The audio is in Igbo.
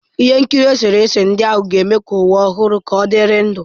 Ihe nkiri eserese ndị ahụ ga-eme ka ụwa ọhụrụ ka ọdịrị ndụ.